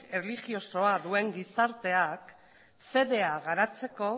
erlijiosoa duen gizarteak fedea garatzeko